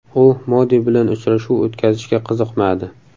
U Modi bilan uchrashuv o‘tkazishga qiziqmadi.